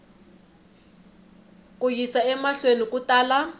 ku yisa emahlweni ku tala